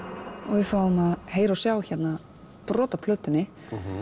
við fáum að heyra og sjá hérna brot af plötunni